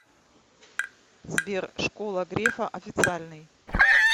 сбер школа грефа официальный